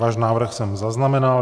Váš návrh jsem zaznamenal.